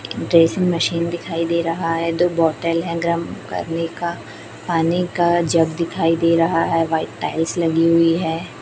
Dressing machine दिखाई दे रहा है दो बॉटल है गर्म करने का पानी का जग दिखाई दे रहा है व्हाइट टाइल्स लगी हुई हैं।